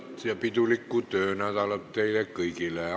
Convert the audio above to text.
Ilusat ja pidulikku töönädalat teile kõigile!